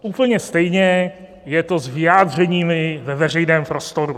Úplně stejně je to s vyjádřeními ve veřejném prostoru.